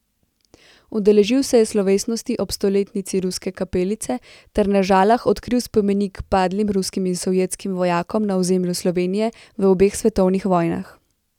Udeležil se je slovesnosti ob stoletnici Ruske kapelice ter na Žalah odkril spomenik padlim ruskim in sovjetskim vojakom na ozemlju Slovenije v obeh svetovnih vojnah.